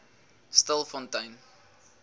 stilfontein